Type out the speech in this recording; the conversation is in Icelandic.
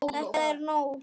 ÞETTA ER NÓG!